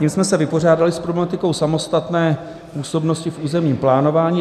Tím jsme se vypořádali s problematikou samostatné působnosti v územním plánování.